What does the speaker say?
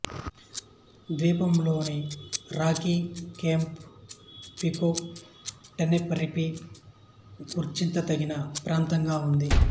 ద్వీపంలోని Rocky Cape Pico Tenerife గుర్తించతగిన ప్రాంతంగా ఉంది